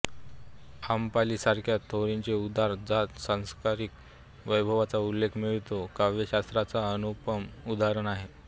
अंबपाली सारख्या थेरींचे उद्गार ज्यात सांसारिक वैभवाचा उल्लेख मिळतो काव्यशास्त्राच्या अनुपम उदाहरण आहे